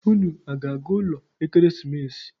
Unu a ga-aga ụlọ ekeresimesi?